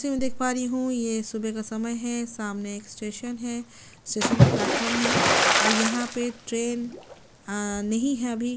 जैसे मैं देख पा रही हूँ ये सुबह का समय है सामने के स्टेशन है स्टेशन का प्लेटफार्म है और यहाँ पे ट्रैन अ नहीं है अभी --